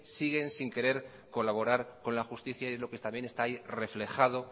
siguen sin querer colaborar con la justicia y es lo que también está ahí reflejado